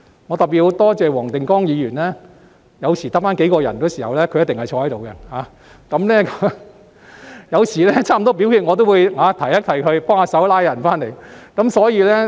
我要特別多謝黃定光議員，當場內只剩下數人的時候，他必定留在座位，有時臨近表決一刻，我更會提醒他幫忙把議員們找回來。